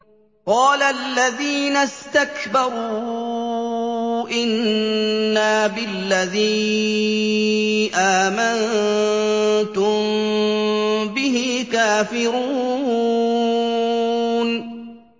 قَالَ الَّذِينَ اسْتَكْبَرُوا إِنَّا بِالَّذِي آمَنتُم بِهِ كَافِرُونَ